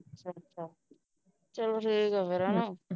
ਅੱਛਾ ਚਲੋ ਠੀਕ ਐ ਫਿਰ